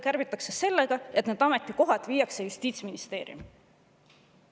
Kärbitakse aga nii, et need ametikohad viiakse Justiitsministeeriumi.